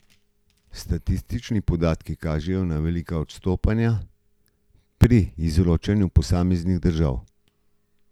Statistični podatki kažejo na velika odstopanja pri izročanju posameznim državam.